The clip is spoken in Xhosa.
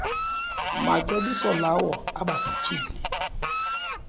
macebiso lawo abasetyhini